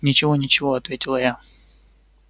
ничего ничего ответила я